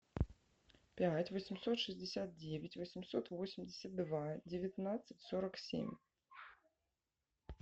пять восемьсот шестьдесят девять восемьсот восемьдесят два девятнадцать сорок семь